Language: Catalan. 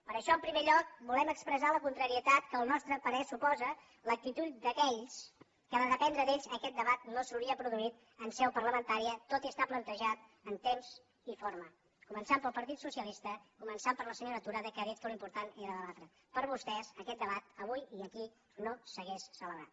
per això en primer lloc volem expressar la contrarietat que al nostre parer suposa l’actitud d’aquells que si depengués d’ells aquest debat no s’hauria produït en seu parlamentària tot i estar plantejat en temps i forma començant pel partit socialista començant per la senyora tura que ha dit que l’important era debatre per vostès aquest debat avui i aquí no s’hauria celebrat